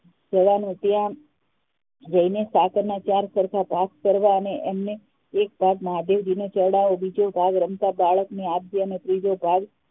જવાનું ત્યાં જઈને સાકાર ના ચાર સરખા ભાગ કરવા અને એક ભાગ મહાદેવને ચડાવવા બીજો ભાગ રમતા બાળક ને આપવું અને ત્રીજો ભાગ